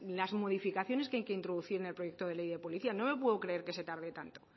las modificaciones que hay que introducir en el proyecto de ley de policía no me puedo creer que se tarde tanto